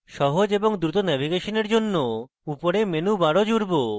সহজ এবং দ্রুত ন্যাভিগেশনের জন্য উপরে menu bar জুড়ব